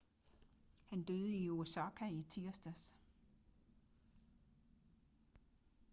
han døde i osaka i tirsdags